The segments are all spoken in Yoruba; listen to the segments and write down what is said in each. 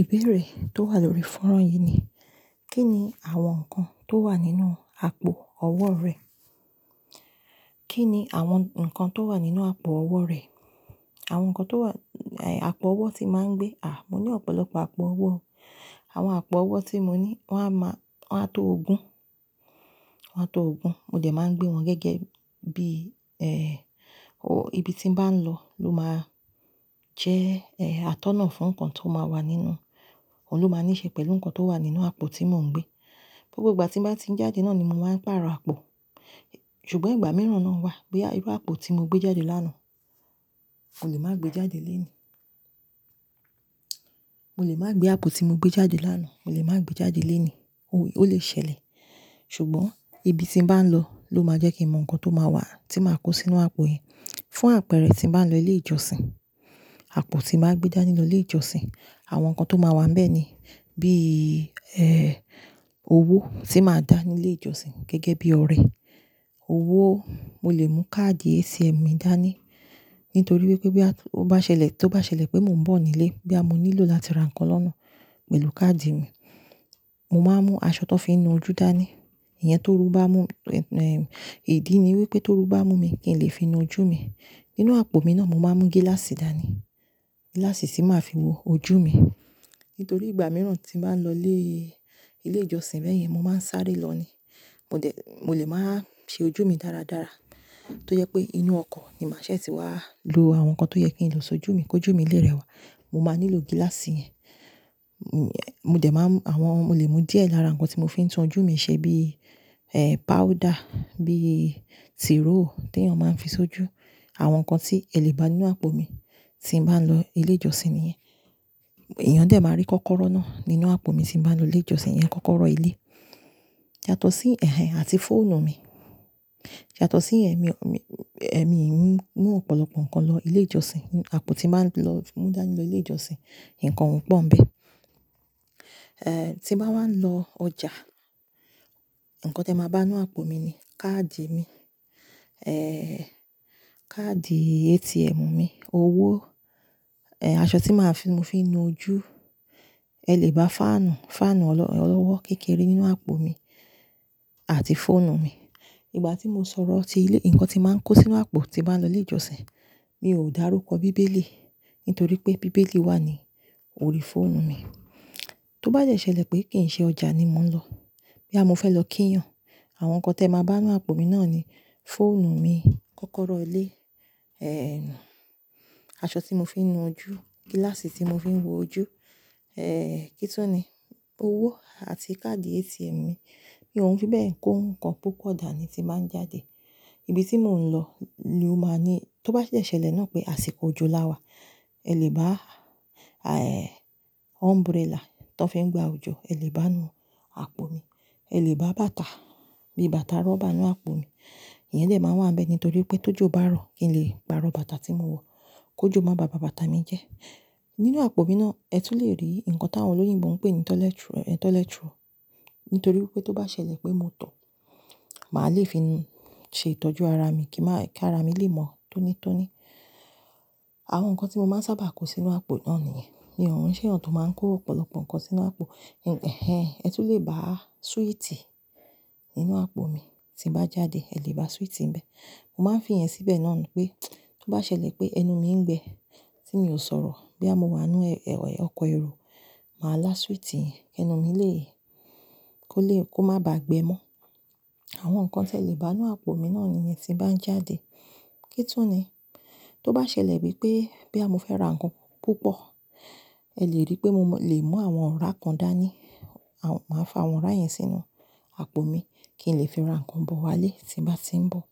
Ìbéèrè tó wà lórí fọ́nrán yìí ni: Kí ni àwọn nǹkan tó wà nínú àpò ọwọ́ rẹ? Kí ni àwọn nǹkan tó wà nínú àpò ọwọ́ rẹ? Àwọn nǹkan tó wà Àpò ọwọ́ ti máa ń gbé. À, mo ní ọ̀pọ̀lọpọ̀ àpò ọwọ́. Àwọn àpò ọwọ́ tí mo ní wọ́n á máa, wọ́n á tó ogún. Wọ́n á tó ogún. Mo jẹ̀ máa ń gbé wọn gẹ́gẹ́ bí, ẹ, o ibi tí ń bá lọ ló máa jẹ́, ẹ, àtọ́nà fún nǹkan tó máa wà nínú. Òun ló máa níṣe pẹ̀lú nǹkan tó wà nínú àpò tí mò ń gbé. Bo gbogbo ìgbà tí màá ti ń jáde náà ni mo máa ń pàrọ̀ àpò. Ṣùgbọ́n ìgbà mìíràn náà wà pé irú àpò tí mo gbé jáde lánàá, mo lè máa gbé jáde léènì. Mo lè máa gbé àpò tí mo gbé jáde lánàá, mo lè máa gbé jáde léènì. Ó lè ṣẹlẹ̀. Ṣùgbọ́n ibi tí ń bá lọ ló máa jẹ́ kí mọ̀ nǹkan tó máa wà tí màá kó sínú àpò yẹn. Fún àpẹẹrẹ, tí ń bá lọ ilé ìjọsìn, àpò tí màá gbé dání nínú ilé ìjọsìn, àwọn nǹkan tó máa wà ńbẹ̀ ni: Bí, ẹ́, owó tí màá dá nílé ìjọsìn gẹ́gẹ́ bí ọrẹ. Owó, mo lè mú káàdì ATM mi dání. Nítorí pé bí a tó bá ṣẹlẹ̀, tó bá ṣẹlẹ̀ pé mò ń bọ̀ nílé, bí a mo nílò láti ra nǹkan lọ́nà pẹ̀lú káàdì mi. Mo máa mú aṣọ tó fi ń nu ojú dání. Ìyẹn torú bá mú, ẹ̀, ìdí ni wípé torú bá mú mi kí n lè fi nu ojú mi. Nínú àpò mi náà, mo máa ń mú gíláàsì dání. Gíláàsì tí màá fi wo ojú mi. Nítorí ìgbà mìíràn tí ń bá lọ ilé, ilé ìjọsìn bẹ́ẹ̀ yẹn, mo máa ń sáré lọ ni. Mo jẹ̀, mo lè máa ṣe ojú mi dáradára. Tó yẹ pé inú ọkọ̀ ni màá ṣẹ̀ tí wá lo àwọn nǹkan tó yẹ kí n lò so ojú mi, kó ojú mi lè rẹwà. Mo máa nílò gíláàsì yẹn. Mo jẹ̀ máa ń, àwọn, mo lè mú díẹ̀ lára nǹkan tí mo fi ń tún ojú mi ṣe bí, ẹ́, páúdà, bí tírò tí èèyàn máa ń fi so ojú. Àwọn nǹkan tí ẹ lè bá ní àpò mi tí ń bá lọ ilé ìjọsìn nìyẹn. Ìyẹn dẹ̀ máa rí kọ́kọ́rọ́ náà nínú àpò mi tí ń bá lọ ilé ìjọsìn yẹn, kọ́kọ́rọ́ ilé. Ṣàtọ̀ sí ẹ̀hẹ̀n àti fóònù mi. Ṣàtọ̀ sí ẹ̀mí, ẹ̀mí mi ń mú ọ̀pọ̀lọpọ̀ nǹkan lọ ilé ìjọsìn. Àpò tí màá lọ mú dání lọ ilé ìjọsìn, nǹkan wọ́n pọ̀ ńbẹ̀. Ẹ, tí màá wá lọ ọjà, nǹkan tó máa bá ní àpò mi ni: Káàdì mi, ẹ́, káàdì ATM mi, owó, ẹ́, aṣọ tí màá fi, mo fi ń nu ojú. Ẹ lè bá fáànù, fáànù ọlọ́wọ́ kékeré nínú àpò mi àti fóònù mi. Ìgbà tí mo sọ̀rọ̀ tí ilé, nǹkan tí màá kó sínú àpò tí màá lọ ilé ìjọsìn, mi ò dárúkọ bíbélì. Nítorí pé bíbélì wà ní orí fóònù mi. Tó bá yẹ ṣe ẹlẹ̀ pé kì í ṣe ọjà ni mò ń lọ, bí a mo fẹ́ lọ kíyàn, àwọn nǹkan tó máa bá ní àpò mi náà ni: Fóònù mi, kọ́kọ́rọ́ ilé, ẹ́, aṣọ tí mo fi ń nu ojú, gíláàsì tí mo fi ń wo ojú, ẹ́, kító ni, owó àti káàdì ATM mi. Bí òhun bá bẹ́ẹ̀, kó nǹkan púpọ̀ dà ni tí màá ń jáde. Ibi tí mò ń lọ ló máa ní-- tó bá yẹ ṣe ẹlẹ̀ náà pé àsìkò òjò láwà, ẹ lè bá, àí, umbrella tó fi ń gba òjò, ẹ lè bá a ní àpò mi. Ẹ lè bá bàtà, bí bàtà rọ́bà náà àpò mi. Ìyẹn lè máa wà ńbẹ̀ nítorí pé tó jò bá rọ̀, kí n lè gba rọ bàtà tí mo wọ̀. Kó jò má bà bàtà mi jẹ́. Nínú àpò mi náà, ẹ tún lè rí nǹkan tí àwọn olóyìnbo ń pè ní tọ́lẹ́turo. Nítorí wípé tó bá ṣẹlẹ̀ pé mo tọ̀, màá le fi nu, ṣe ìtọ́jú ara mi kí màá, kí ara mi lè mọ́ tónítóní. Àwọn nǹkan tí mo máa ń sáábà kó sínú àpò náà nìyẹn. Bí òhun ṣe èèyàn tó máa ń kó ọ̀pọ̀lọpọ̀ nǹkan sínú àpò. Ẹ̀hẹn, ẹ tún lè bá súwìtì nínú àpò mi. Tí bàá jáde, ẹ lè bá súwìtì ńbẹ̀. Mo máa ń fi ẹ̀ síbẹ̀ náà nu pé tó bá ṣẹlẹ̀ pé ẹnu mi ń gbẹ tí mi ò sọ̀rọ̀, bí a mo wà nínú, ẹ, ọkọ̀ èrò, màá lá súwìtì yẹn kí ẹnu mi lè, kó lè, kó má bá gbẹ mọ́. Àwọn nǹkan tí ẹ lè bá ní àpò mi náà nìyẹn tí ń bá ń jáde. Kítu ni. Tó bá ṣẹlẹ̀ wípé bí a mo fẹ́ ra nǹkan púpọ̀, ẹ lè rí pé mo lè mú àwọn ọra kàndá ni. À, màá fi àwọn ọ́rá yẹn sínú àpò mi kí ń lè fi ra nǹkan bọ̀ wá lé tí bàá ti ń bọ̀.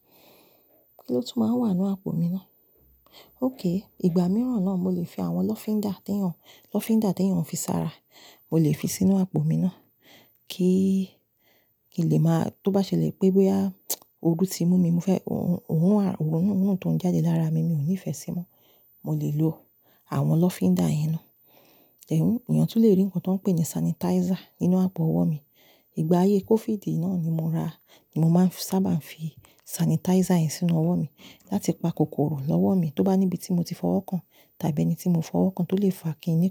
Kí ló tún máa ń wà ní àpò mi náà? Óké, ìgbà mìíràn náà mo lè fi àwọn lọfindà tí èèyàn, lọfindà tí èèyàn fi sá ra, mo lè fi sínú àpò mi náà. Kí, kí lè máa, tó bá ṣẹlẹ̀ pé bóyá ojú ti mú mi, mo fẹ́, òhun, òhun, òhun tó ń jáde lára mi mi ò ní ìfẹ́ sí i mọ́. Mo lè lo àwọn lọfindà yẹn náà. Ẹ̀hún, èèyàn tún lè rí nǹkan tó ń pè ní sanitizer nínú àpò ọwọ́ mi. Ìgbà ayé COVID náà ni mo ra, ni mo máa ń sáábà ń fi sanitizer yẹn sínú ọwọ́ mi láti pa kòkòrò lọ́wọ́ mi tó bá níbi tí mo ti fọwọ́ kan tàbí ẹni tí mo fọwọ́ kan tó lè fà kí inú kọ.